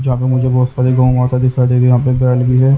जहाँ पे मुझे बहुत सारे गांव वहाँ का दिखाई दे रहे हैं यहाँ पर बेल भी है।